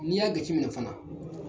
N'i y'a gaci minɛ fana